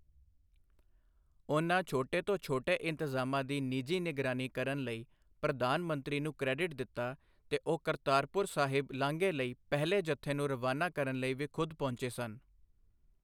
ਉਨ੍ਹਾਂ ਛੋਟੇ ਤੋਂ ਛੋਟੇ ਇੰਤਜ਼ਾਮਾਂ ਦੀ ਨਿਜੀ ਨਿਗਰਾਨੀ ਕਰਨ ਲਈ ਪ੍ਰਧਾਨ ਮੰਤਰੀ ਨੂੰ ਕ੍ਰੈਡਿਟ ਦਿੱਤਾ ਤੇ ਉਹ ਕਰਤਾਰਪੁਰ ਸਾਹਿਬ ਲਾਂਘੇ ਲਈ ਪਹਿਲੇ ਜਥੇ ਨੂੰ ਰਵਾਨਾ ਕਰਨ ਲਈ ਵੀ ਖ਼ੁਦ ਪਹੁੰਚੇ ਸਨ।